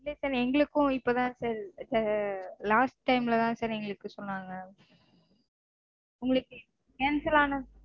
இல்ல sir எங்களுக்கும் இப்போதா sir last time -லதா sir எங்களுக்கு சொன்னாங்க. உங்களுக்கு cancel ஆன situation